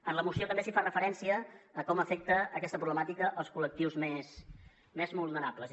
en la moció també es fa referència a com afecta aquesta problemàtica als col·lectius més vulnerables